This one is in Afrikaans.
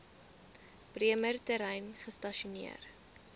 bremer terrein gestasioneer